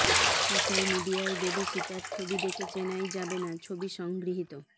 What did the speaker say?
social মিডিয়ায় দেবী সীতার ছবি দেখে চেনাই যাবেনা ছবি সংগৃহীত